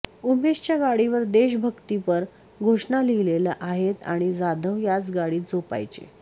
उमेशच्या गाडीवर देशभक्तीपर घोषणा लिहिलेल्या आहेत आणि जाधव याच गाडीत झोपायचे